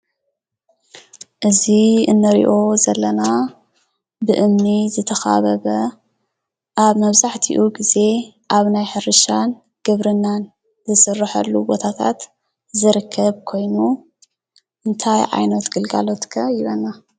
እዚ እንሪኦ ዘለና ብእምኒ ዝተኸበበ ኣብ መብዛሕቲኡ ግዜ ኣብ ናይ ሕርሻን ግብርናን ዝስርሐሉ ቦታታት ዝርከብ ኮይኑ እንታይ ዓይነት ግልጋሎት ከ ይበና?